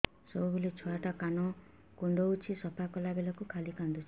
ସବୁବେଳେ ଛୁଆ ଟା କାନ କୁଣ୍ଡଉଚି ସଫା କଲା ବେଳକୁ ଖାଲି କାନ୍ଦୁଚି